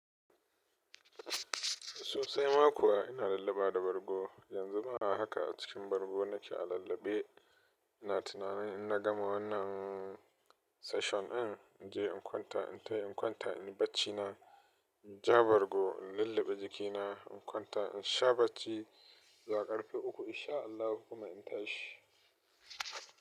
Sosai ma kuwa ina lulluɓa da bargo. Yanzu ma a haka a cikin bargo nake a lullabe. Ina tunanin in na gama wannan session ɗin, in je in kwanta. In tai in kwanta, in yi bacci na. In ja bargo, in lulluɓe jikina, in kwanta, in sha bacci. Zuwa karfe uku in sha Allahu kuma in tashi.